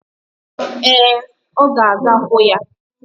Ee, ọ ga-aga hụ ya.